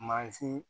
Mansin